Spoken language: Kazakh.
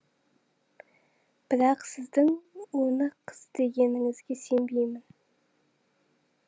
бірақ сіздің оны қыз дегеніңізге сенбеймін